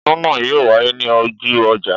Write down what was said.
Ọdún náà yóò wáyé ní ojú ọjà